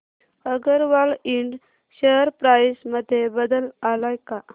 अगरवाल इंड share price मध्ये बदल आलाय का